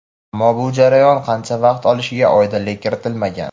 Ammo bu jarayon qancha vaqt olishiga oydinlik kiritilmagan.